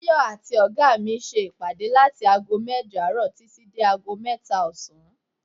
Tayọ àti oga mi ṣe ìpàdé láti ago mẹ́jọ àárọ̀ títí dé ago mẹ́ta ọ̀sán.